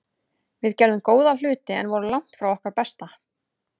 Við gerðum góða hluti en vorum langt frá okkar besta.